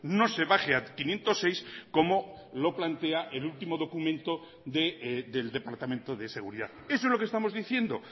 no se baje a quinientos seis como lo plantea el último documento del departamento de seguridad eso es lo que estamos diciendo